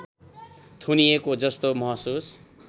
थुनिएको जस्तो महसुस